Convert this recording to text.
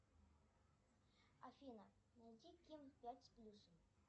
афина найди ким пять с плюсом